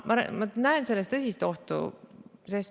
Ma näen selles tõsist ohtu.